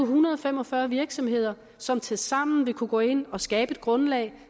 hundrede og fem og fyrre virksomheder som tilsammen vil kunne gå ind og skabe et grundlag